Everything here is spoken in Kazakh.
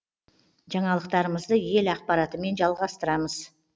жаңалықтарымызды ел ақпаратымен жалғастырамыз